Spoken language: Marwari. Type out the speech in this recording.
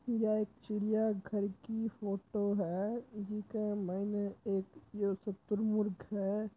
यह चिड़िया घर की फोटो है जीके माईने एक जो शतुरमुर्ग है।